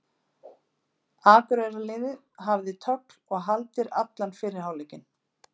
Akureyrarliðið hafði tögl og haldir allan fyrri hálfleikinn.